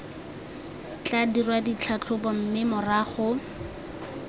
tla dirwa ditlhatlhobo mme morago